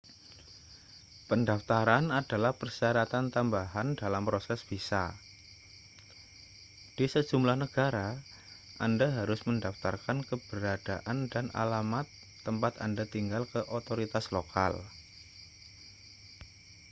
pendaftaran adalah persyaratan tambahan dalam proses visa di sejumlah negara anda harus mendaftarkan keberadaan dan alamat tempat anda tinggal ke otoritas lokal